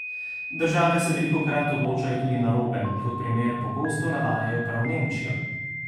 Države se velikokrat odločajo tudi narobe, kot primer pogosto navajajo prav Nemčijo.